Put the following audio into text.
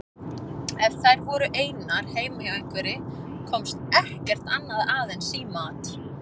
Ef þær voru einar heima hjá einhverri komst ekkert annað að en símaat.